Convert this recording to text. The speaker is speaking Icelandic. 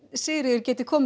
Sigríður geti komið